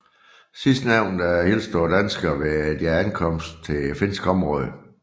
Sidstnævnte hilste på danskerne ved deres ankomst til finsk område